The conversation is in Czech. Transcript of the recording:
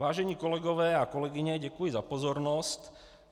Vážené kolegové a kolegyně, děkuji za pozornost.